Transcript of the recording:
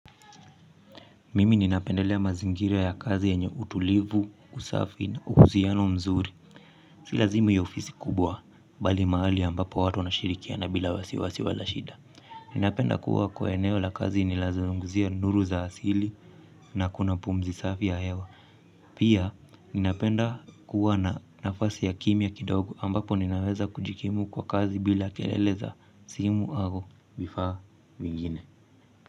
Mimi ninapendelea mazingira ya kazi yenye utulivu, usafi na uhusiano mzuri. Si lazima iwe ofisi kubwa, bali mahali ambapo watu wanashirikiana bila wasiwasi wala shida. Ninapenda kuwa kwa eneo la kazi ninazungumzia nuru za asili na kuna pumzi safi ya hewa. Pia ninapenda kuwa na nafasi ya kimya kidogo ambapo ninaweza kujikimu kwa kazi bila kelele za simu au vifaa vingine.